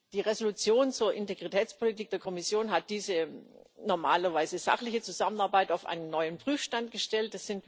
Die Entschließung zur Integritätspolitik der Kommission hat diese normalerweise sachliche Zusammenarbeit auf einen neuen Prüfstand gestellt